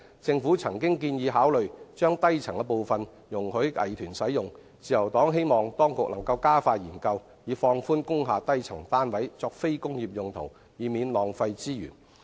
政府曾建議考慮將低層部分容許藝團使用，自由黨希望當局能加快研究，以放寬工廈低層單位作非工業用途，以免浪費資源。